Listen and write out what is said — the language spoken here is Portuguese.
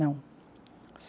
Não.